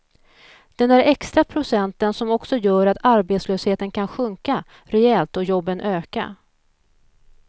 Den där extra procenten som också gör att arbetslösheten kan sjunka rejält och jobben öka.